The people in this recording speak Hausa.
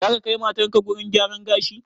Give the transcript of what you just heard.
Zaka kai matarka gurin gyaran gashi?